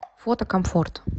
фото комфорт